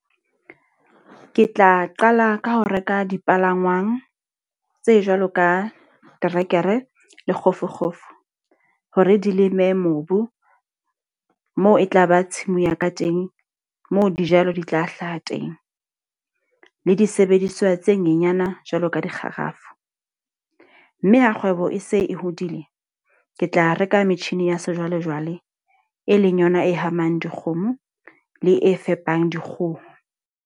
Ke tla qala ka ho reka dipalangwang, tse jwalo ka terekere le kgofukgofu. Hore di leme mobu, moo e tla ba tshimong ya ka teng, moo dijalo di tla hlaha teng. Le disebediswa tse nyenyana jwalo ka dikgarafu. Mme ha kgwebo e se e hodile, ke tla reka metjhini ya sejwalejwale. E leng yona e hamang dikgomo le e fepang dikgoho.